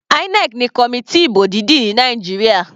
INEC ni committee ìbò dídì ní Nàìjíríà.